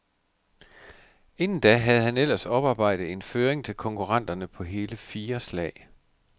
Inden da havde han ellers oparbejdet en føring til konkurrenterne på hele fire slag.